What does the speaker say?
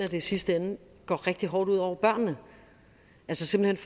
i sidste ende går rigtig hårdt ud over børnene simpelt